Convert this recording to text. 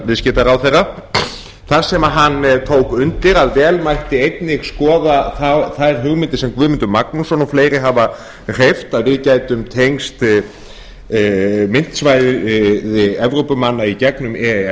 viðskiptaráðherra þar sem hann tók undir að vel mætti einnig skoða þær hugmyndir sem guðmundur magnússon og fleiri hafa hreyft að við gætum tengst myntsvæðum evrópumanna í gegnum e e s